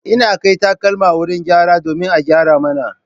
Ina kai takalma wurin gyara domin a gyara mana.